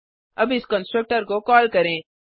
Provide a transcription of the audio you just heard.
अब इस कंस्ट्रक्टर को कॉल करें